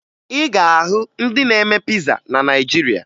Ị ga-ahụ ndị na-eme piza na Naịjirịa